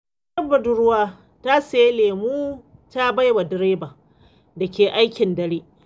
Wata budurwa ta sayi lemo ta bai wa direban da ke aikin dare.